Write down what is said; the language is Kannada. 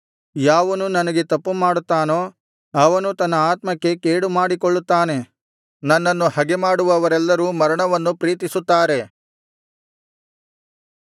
ಯಾವನು ನನಗೆ ತಪ್ಪುಮಾಡುತ್ತಾನೋ ಅವನು ತನ್ನ ಆತ್ಮಕ್ಕೆ ಕೇಡುಮಾಡಿಕೊಳ್ಳುತ್ತಾನೆ ನನ್ನನ್ನು ಹಗೆಮಾಡುವವರೆಲ್ಲರೂ ಮರಣವನ್ನು ಪ್ರೀತಿಸುತ್ತಾರೆ